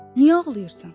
Niyə ağlayırsan?